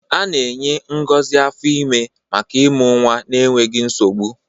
A na-enye ngozi afọ ime maka ịmụ nwa n'enweghị nsogbu.